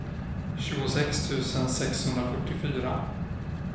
tjugosex tusen sexhundrafyrtiofyra